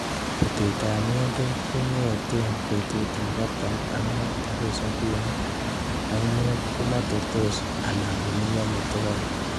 Butetab ng'endek kokong'eten betutab artam ak mut agoi sobini ak imut komoterso alan konunyo motokoik.